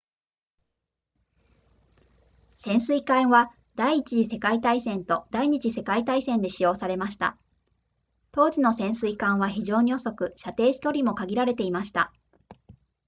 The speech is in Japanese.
潜水艦は第一次世界大戦と第二次世界大戦で使用されました当時の潜水艦は非常に遅く射程距離も限られていました